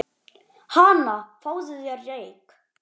Hana, fáðu þér reyk